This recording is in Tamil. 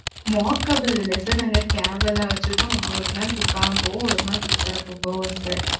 walkable இல்ல sir நாங்க cab எல்லாம் வச்சிருக்கோம். நம்ம ஒரு நாள் குத்தாலும் போவோம். ஒரு நாள் போவோம் sir